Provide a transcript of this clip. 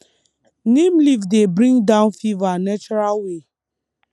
neem leaf dey bring down fever natural way